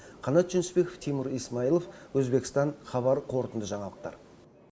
қанат жүнісбеков тимур исмаилов өзбекстан хабар қорытынды жаңалықтар